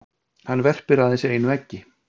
hann verpir aðeins einu eggi